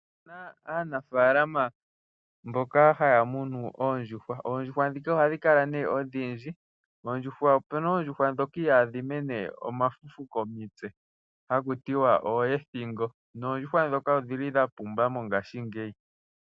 Otu na aanafalama mboka haya munu oondjuhwa. Oondjuhwa ndhika ohadhi kala nee odhindji. Opu na oondjuhwa ndhoka ihaadhi mene omafufu komitse haku tiwa ooethingo. Noondjuhwa ndhoka odhi li dha pumba mongashingeyi.